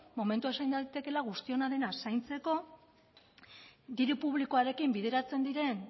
momentua izan daitekeela guztiona dena zaintzeko diru publikoarekin bideratzen diren